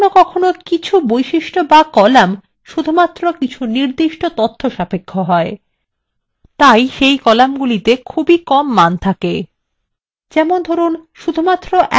কখনও কখনও কিছু বৈশিষ্ট্য বা কলাম শুধুমাত্র কিছু নির্দিষ্ট তথ্য সাপেক্ষ হয় তাই সেই কলামগুলি খুব কমই মান থাকে